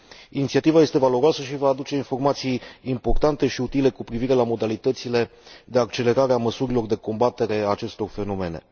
Inițiativa este valoroasă și va aduce informații importante și utile cu privire la modalitățile de accelerare a măsurilor de combatere a acestor fenomene.